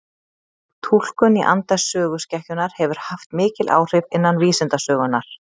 Túlkun í anda söguskekkjunnar hefur haft mikil áhrif innan vísindasögunnar.